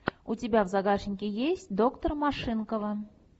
у тебя в загашнике есть доктор машинкова